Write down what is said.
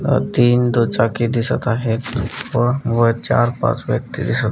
अ तीन दु चाकी दिसत आहेत व चार पाच व्यक्ती दिसत--